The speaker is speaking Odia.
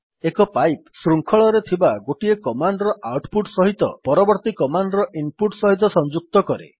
ଏକ ପାଇପ୍ ଶୃଙ୍ଖଳରେ ଥିବା ଗୋଟିଏ କମାଣ୍ଡ୍ ର ଆଉଟ୍ ପୁଟ୍ ସହିତ ପରବର୍ତ୍ତୀ କମାଣ୍ଡ୍ ର ଇନ୍ ପୁଟ୍ ସହିତ ସଂଯୁକ୍ତ କରେ